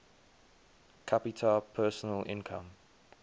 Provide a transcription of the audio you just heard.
capita personal income